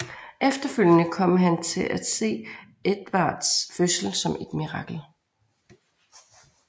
Efterfølgende kom han til at se Edvards fødsel som et mirakel